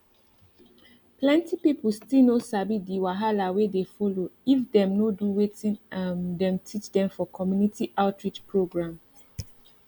plenty people still no sabi the wahala wey dey follow if dem no do wetin um dem teach dem for community outreach programs